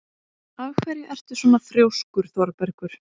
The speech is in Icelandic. Af hverju ertu svona þrjóskur, Þorbergur?